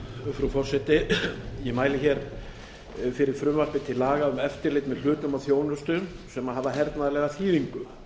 frú forseti ég mæli fyrir frumvarpi til laga um eftirlit með hlutum og þjónustu sem hafa hernaðarlega þýðingu